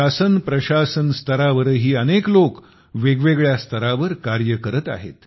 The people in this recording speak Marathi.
शासन प्रशासन स्तरावरही अनेक लोक वेगवेगळ्या स्तरावर कार्य करत आहेत